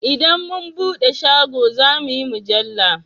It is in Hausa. Idan mu buɗe shago zamuyi mujalla